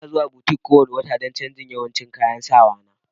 Ina zuwa butik kowane wata don canjin yawancin kayan sawa na.